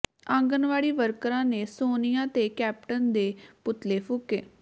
ਆਂਗਣਵਾੜੀ ਵਰਕਰਾਂ ਨੇ ਸੋਨੀਆ ਤੇ ਕੈਪਟਨ ਦੇ ਪੁਤਲੇ ਫੂਕੇ